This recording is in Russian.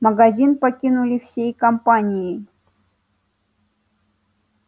магазин покинули всей компанией